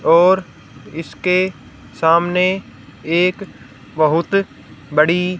और इसके सामने एक बहुत बड़ी--